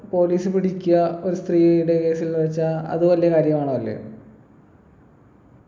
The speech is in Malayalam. police പിടിക്കാ ഒരു സ്ത്രീയുടെ case ൽ വെച്ചാ അത് വലിയ കാര്യാണോ അല്ലയോ